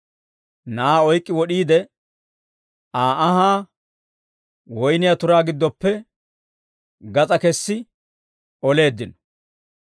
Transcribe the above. Na'aa oyk'k'i wod'iide, Aa anhaa woyniyaa turaa giddoppe gas'aa kessi oleeddino.